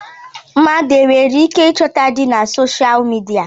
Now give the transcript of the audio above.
Mmadụ e nwereike ịchọta di na soshal midia?